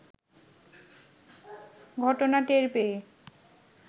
ঘটনা টের পেয়ে